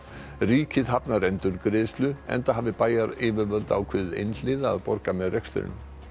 ríkið hafnar endurgreiðslu enda hafi bæjaryfirvöld ákveðið einhliða að borga með rekstrinum